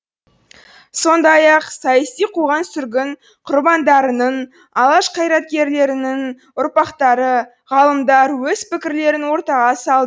сондай ақ саяси қуғын сүргін құрбандарының алаш қайраткерлерінің ұрпақтары ғалымдар өз пікірлерін ортаға салды